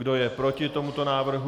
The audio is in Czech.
Kdo je proti tomuto návrhu?